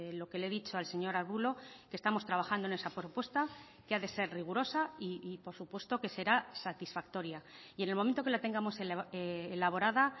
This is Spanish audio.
lo que le he dicho al señor arbulo que estamos trabajando en esa propuesta que ha de ser rigurosa y por supuesto que será satisfactoria y en el momento que la tengamos elaborada